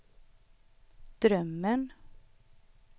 drömmen